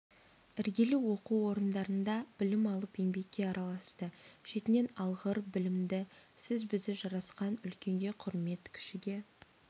іргелі оқу орындарында білім алып еңбекке араласты шетінен алғыр білімді сіз-бізі жарасқан үлкенге құрмет кішіге